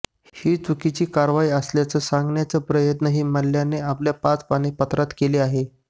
ही चुकीची कारवाई असल्याचं सांगण्याचा प्रयत्नही मल्ल्याने आपल्या पाच पानी पत्रात केला आहे